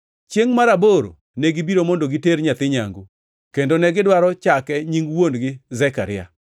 Chiengʼ mar aboro negibiro mondo giter nyathi nyangu kendo negidwaro chake nying wuon-gi Zekaria,